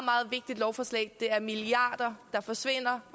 vigtigt lovforslag det er milliarder der forsvinder